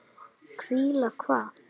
Hvíla hvað?